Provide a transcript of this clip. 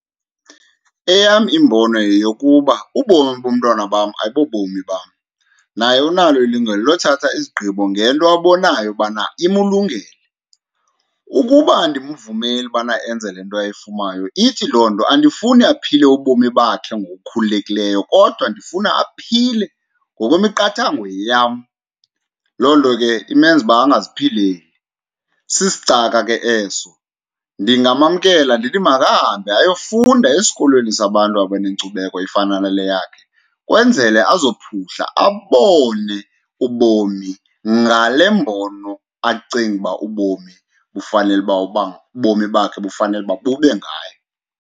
Eyam imbono yeyokuba ubomi bomntwana bam ayibo bomi bam, naye unalo ilungelo lothatha izigqibo ngento abonayo ubana imlungele. Ukuba andimvumeli ubana enze le nto ayifunayo ithi loo nto andifuni aphile ubomi bakhe ngokukhululekileyo kodwa ndifuna aphile ngokwemiqathango yam. Loo nto ke imenza uba angaziphileli, sisicaka ke eso. Ndingamamkela ndithi makahambe ayofunda esikolweni sabantu abanenkcubekho efana nale yakhe kwenzele azophuhla abone ubomi ngale mbono acinga uba ubomi bufanele uba uba ubomi bakhe bufanele uba bube ngayo.